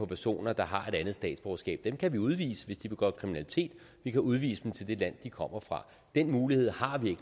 personer der har et andet statsborgerskab dem kan vi udvise hvis de begår kriminalitet vi kan udvise dem til det land de kommer fra den mulighed har vi